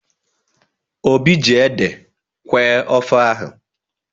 Obi ji ede kweẹ́ ofe ahu.